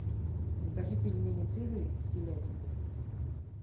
закажи пельмени цезарь с телятиной